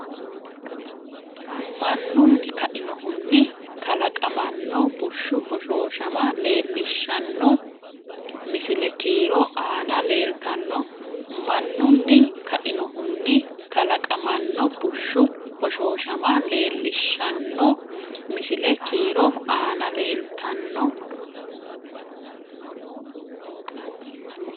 Mannunni kainohunni kalaqamanno bushshu hoshooshama leel- lishshanno misile kiiro aana leeltanno Mannunni kainohunni kalaqamanno bushshu hoshooshama leel- lishshanno misile kiiro aana leeltanno.